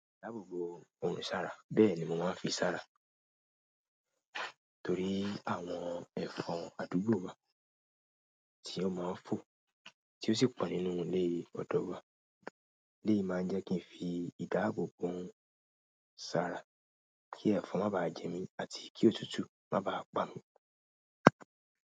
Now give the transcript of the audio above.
Ìdáàbòbò òòrùn sára bẹ́ẹ̀ ni mo máa ń fi sára torí àwọn ẹ̀fọn àdúgbò wa tí ó máa ń fọ, tí ó sì pọ̀ nínú ilé ọdọ̀ wa. Léè máa ń jẹ́ kí n fi ìdáàbòbò sára kí ẹ̀fọn má bá jẹ mí àti kí òtútù má bá pa mi.